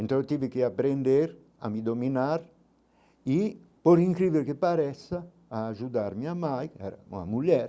Então eu tive que aprender a me dominar e por incrível que pareça ajudar minha mãe, era uma mulher,